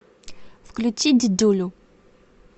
включи дидюлю